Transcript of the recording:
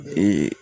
Bi